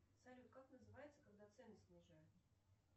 салют как называется когда цены снижают